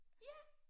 Ja